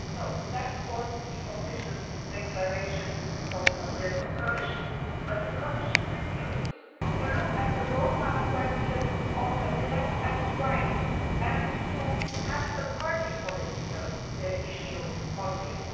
So that was the official declaration by the Commission. However, the Commission refuses to look at the Roma question in black and white, and to make a party political issue of this.